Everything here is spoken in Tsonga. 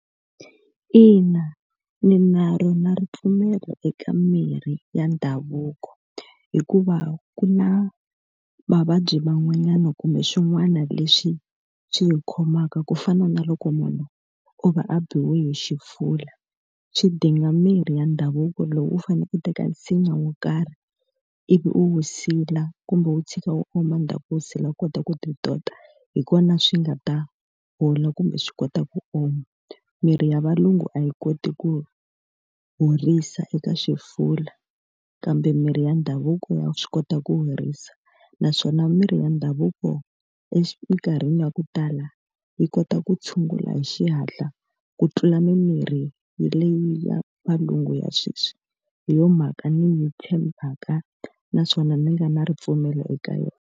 Ina, ni na rona ripfumelo eka mirhi ya ndhavuko, hikuva ku na mavabyi man'wanyana kumbe swin'wana leswi swi hi khomaka ku fana na loko munhu o va a biwile hi xifuva. Swi dinga mirhi ya ndhavuko lowu u fanele ku teka nsinya wo karhi ivi u wu sila kumbe u wu tshika wu oma endzhaku u wu sila u kota ku ti tota, hi kona swi nga ta hola kumbe swi kota ku oma. Mirhi ya valungu a yi koti ku horisa eka xifula kambe mirhi ya ndhavuko ya swi kota ku horisa. Naswona mirhi ya ndhavuko emikarhini ya ku tala yi kota ku ku tshungula hi xihatla ku tlula mimirhi leyi ya valungu ya sweswi. Hi yona mhaka ndzi yi tshembaka naswona ni nga na ripfumelo eka yona.